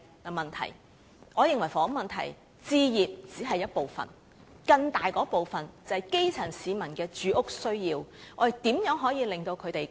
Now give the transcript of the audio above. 我認為置業只是房屋問題的一部分，更大的部分是基層市民的住屋需要，我們如何令他們可以及早"上樓"呢？